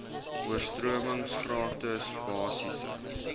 oorstromings gratis basiese